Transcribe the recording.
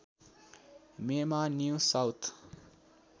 मेमा new south